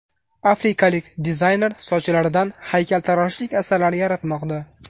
Afrikalik dizayner sochlaridan haykaltaroshlik asarlari yaratmoqda .